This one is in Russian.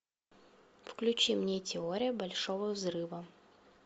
включи мне теория большого взрыва